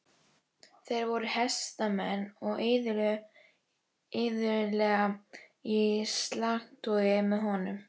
Þeir voru hestamenn og iðulega í slagtogi með honum.